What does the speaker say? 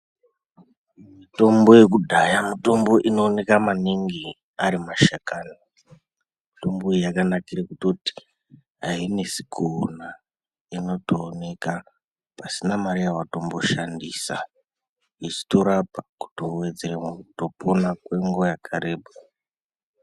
Mitombo yekudhaya mutombo inooneka maningi arimashakani. Mitombo iyi yakanakira kutoti ainesi kuona inotooneka pasina mari yawatomboshandisa. Yeitorapa kutowedzera kutopona kwenguwa yakareba.